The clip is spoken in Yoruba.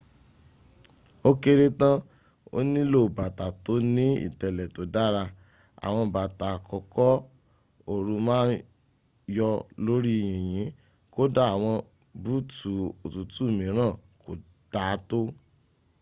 ó kéré tán o nílò bàtà tó ni ìtẹ̀lẹ̀ tó dára. àwọn bàtà àkókò ooru ma ń yọ̀ lórí yìnyìn kódà àwọn búùtù òtútù mìíràn kò daátó